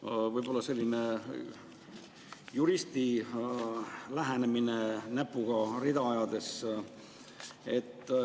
Mul on võib-olla selline juristi lähenemine näpuga rida ajades.